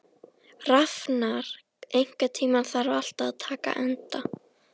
Rafnar, einhvern tímann þarf allt að taka enda.